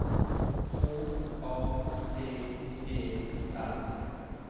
H A T E R